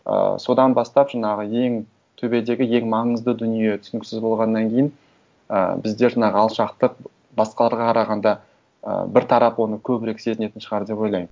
ыыы содан бастап жаңағы ең төбедегі ең маңызды дүние түсініксіз болғаннан кейін і біздер мына алшақтық басқаларға қарағанда ы бір тарап оны көбірек сезінетін шығар деп ойлаймын